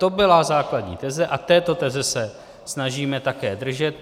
To byla základní teze a této teze se snažíme také držet.